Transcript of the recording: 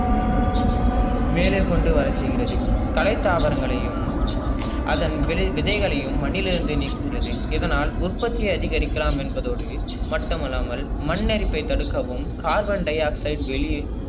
மேலேகொண்டு வரசெய்கிறது. கலை தாவங்கலையும் அதன் விலை விதைகலியும் மண்ணிலிருந்து நீக்குகிறது இதனால் உற்பத்தி அதிகரிக்கலாம் என்பதோடு மட்டும் அல்லாமல் மண்ணரிப்பை தடுக்கவும் carbon dioxide வெளியே